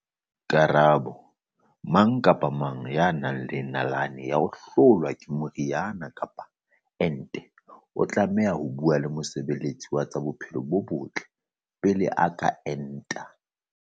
Karabo- Mang kapa mang ya nang le nalane ya ho hlolwa ke meriana kapa ente o tlameha ho bua le mosebe letsi wa tsa bophelo bo botle pele a ka enta.